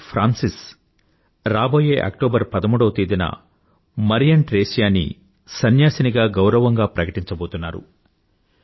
Pope Francis రాబోయే October 13వ తేదీన మరియం ట్రేసియా ని సన్యాసినిగా గౌరవంగా ప్రకటించబోతున్నారు